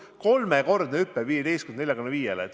Aga kolmekordne hüpe 15%-lt 45%-le?